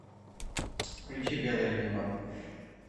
включи белое небо